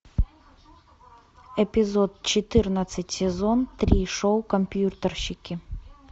эпизод четырнадцать сезон три шоу компьютерщики